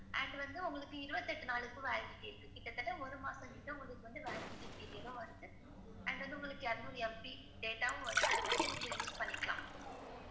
And வந்து உங்களுக்கு இருவத்தியெட்டு நாளுக்கு validity இருக்கு. கிட்டதட்ட ஒரு மாசம் கிட்ட உங்களுக்கு வந்து validity period வருது and வந்து உங்களுக்கு இருநூறு MB data வும் வந்து அத நீங்க use பண்ணிக்கலாம்.